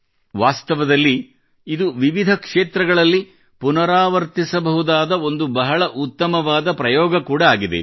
ವಾಸ್ತವದಲ್ಲಿ ಇದು ವಿವಿಧ ಕ್ಷೇತ್ರಗಳಲ್ಲಿ ಪುನರಾವರ್ತಿಸಬಹುದಾದ ಒಂದು ಬಹಳ ಉತ್ತಮವಾದ ಪ್ರಯೋಗ ಕೂಡಾ ಆಗಿದೆ